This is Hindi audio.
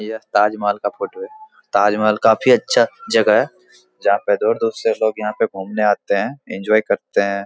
यह ताजमहल का फोटो है ताजमहल काफी अच्छा जगह है जहाँ पर दूर-दूर से लोग यहाँ घूमने आते हैं इंजॉय करते हैं।